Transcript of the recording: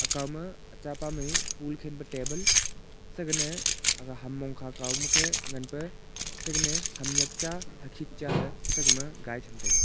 ka ma chaa mey pol khalpe table sagene hum mong kha ma khe ngane sagene hum nyap cha hum nyik cha sagme hai cham taiga.